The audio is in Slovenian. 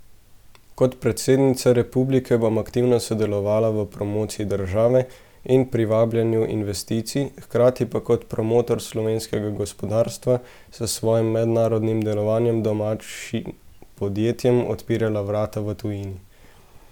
Kot predsednica republike bom aktivno sodelovala v promociji države in privabljanju investicij, hkrati pa kot promotor slovenskega gospodarstva s svojim mednarodnim delovanjem domačim podjetjem odpirala vrata v tujini.